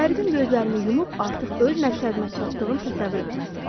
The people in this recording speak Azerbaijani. Hər gün gözlərimi yumub artıq öz məqsədimə çatdığım təsəvvür etməliyəm.